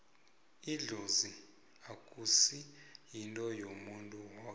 idlozi akusi yinto yomuntu woke